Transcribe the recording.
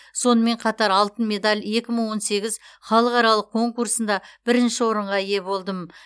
сонымен қатар алтын медаль екі мың он сегіз халықаралық конкурсында бірінші орынға ие болдым